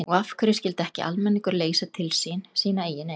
Og af hverju skyldi ekki almenningur leysa til sín sína eigin eign?